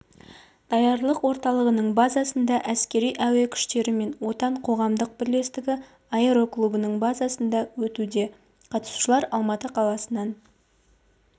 даярлық орталығының базасында әскери-әуе күштері мен отан қоғамдық бірлестігі аэроклубының базасында өтуде қатысушылар алматы қаласынан